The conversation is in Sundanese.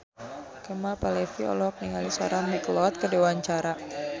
Kemal Palevi olohok ningali Sarah McLeod keur diwawancara